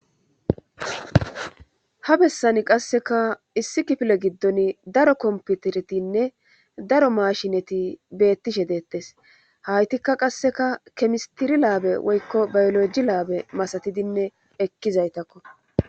ha bessani qasseka issi kifile giddon daro komputeretinne daro mashineti beettishe deettes haytikka qasseka kemistiri laabe woykko bayoloji laabe masatidinne ekkizaytakko